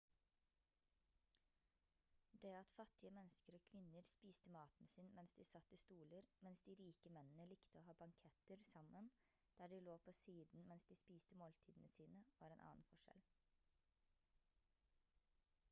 det at fattige mennesker og kvinner spiste maten sin mens de satt i stoler mens de de rike mennene likte å ha banketter sammen der de lå på siden mens de spiste måltidene sine var en annen forskjell